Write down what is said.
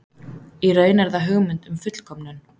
Í raun er það hugmynd um fullkomnun.